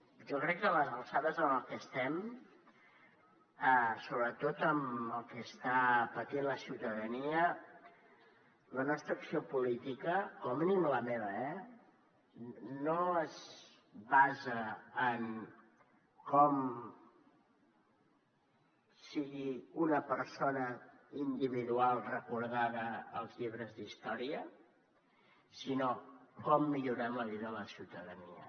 jo crec que a les alçades en les que estem sobretot amb el que està patint la ciutadania la nostra acció política com a mínim la meva eh no es basa en com sigui una persona individual recordada als llibres d’història sinó en com millorem la vida a la ciutadania